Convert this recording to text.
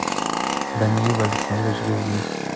даниил александрович газиев